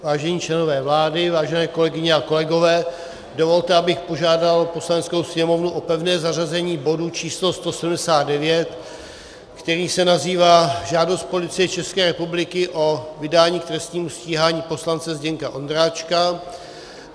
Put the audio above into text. Vážení členové vlády, vážené kolegyně a kolegové, dovolte, abych požádal Poslaneckou sněmovnu o pevné zařazení bodu číslo 179, který se nazývá Žádost Policie České republiky o vydání k trestnímu stíhání poslance Zdeňka Ondráčka.